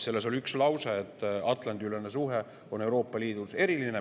Selles oli üks lause, et Atlandi-ülene suhe on Euroopa Liidus eriline.